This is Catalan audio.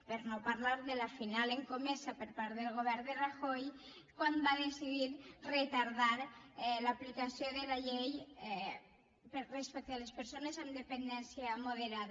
per no parlar de la final escomesa per part del govern de rajoy quan va decidir retardar l’aplicació de la llei respecte a les persones amb dependència moderada